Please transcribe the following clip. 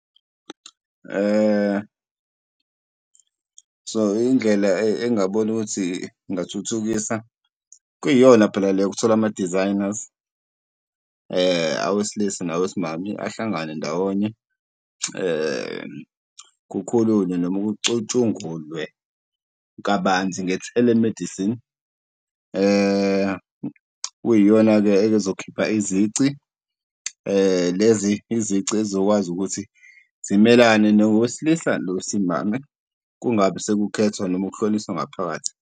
So indlela engabona ukuthi ingingathuthukisa, kuyiyona phela le yokuthola ama-designers awesilisa nawesimame ahlangane ndawonye, kukhulunywe noma kucutshungulwe kabanzi nge-telemedicine. Kuyiyona-ke ezokhipha izici, lezi izici ezokwazi ukuthi zimelane nowesilisa nowesimame kungabi sekuphethwa noma kuhlukaniswa ngaphakathi.